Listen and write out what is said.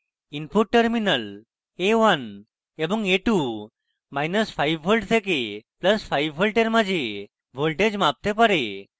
input terminals a1 এবং a25v থেকে + 5v a1 মাঝে voltage মাপতে পারে